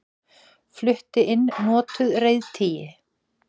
Flutti inn notuð reiðtygi